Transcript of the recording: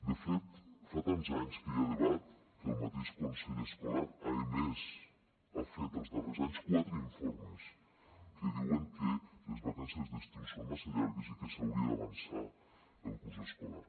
de fet fa tants anys que hi ha debat que el mateix consell escolar ha emès ha fet els darrers anys quatre informes que diuen que les vacances d’estiu són massa llargues i que s’hauria d’avançar el curs escolar